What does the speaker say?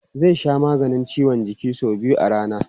Zai sha maganin ciwon jiki sau biyu a rana.